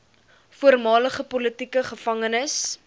voormalige politieke gevangenes